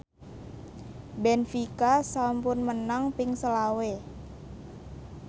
benfica sampun menang ping selawe